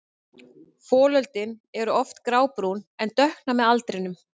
Folöldin eru oft grábrún en dökkna með aldrinum.